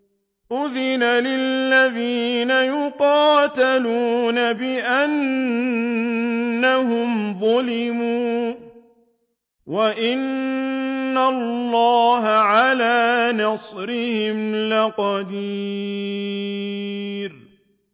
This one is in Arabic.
أُذِنَ لِلَّذِينَ يُقَاتَلُونَ بِأَنَّهُمْ ظُلِمُوا ۚ وَإِنَّ اللَّهَ عَلَىٰ نَصْرِهِمْ لَقَدِيرٌ